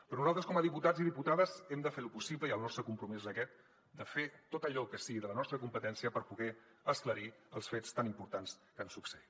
però nosaltres com a diputats i diputades hem de fer lo possible i el nostre compromís és aquest de fer tot allò que sigui de la nostra competència per poder esclarir els fets tan importants que han succeït